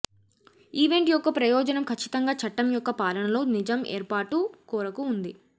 event యొక్క ప్రయోజనం ఖచ్చితంగా చట్టం యొక్క పాలనలో నిజం ఏర్పాటు కోరిక ఉంది